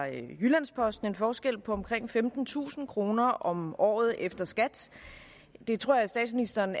i jyllands posten en forskel på omkring femtentusind kroner om året efter skat det tror jeg at statsministeren